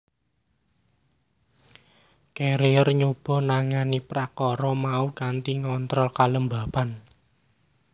Carrier nyoba nangani prakara mau kanthi ngontrol kelembaban